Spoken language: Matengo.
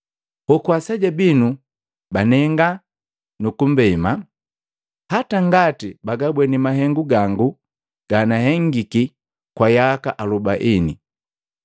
Hoku aseja binu banenga nukumbema, hata ngati bagabweni mahengu gangu ganahengiki kwa yaka alubaini!